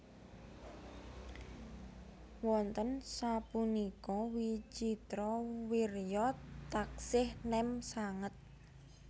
Wonten sapunika Wicitrawirya taksih nem sanget